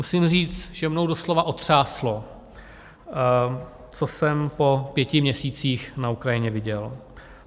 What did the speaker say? Musím říct, že mnou doslova otřáslo, co jsem po pěti měsících na Ukrajině viděl.